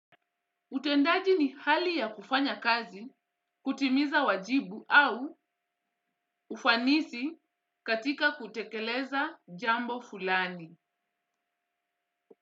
Utendaji ni hali ya kufanya kazi, kutimiza wajibu au ufanisi katika kutekeleza jambo fulani.